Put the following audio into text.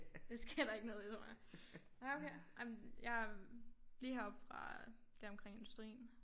Det sker der ikke noget ved tror jeg nej okay jamen jeg er lige heroppe fra deromkring industrien